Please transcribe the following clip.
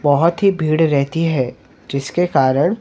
बहुत ही भीड़ रहती हैं जिसके कारण--